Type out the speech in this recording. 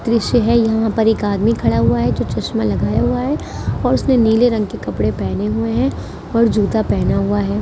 दृश्य है यहां पर एक आदमी खड़ा हुआ है जो चश्मा लगाया हुआ है और उसने नीले रंग के कपड़े पहने हुए हैं और जूता पहना हुआ है ।